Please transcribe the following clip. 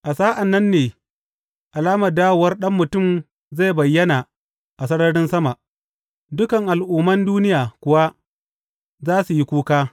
A sa’an nan ne alamar dawowar Ɗan Mutum zai bayyana a sararin sama, dukan al’umman duniya kuwa za su yi kuka.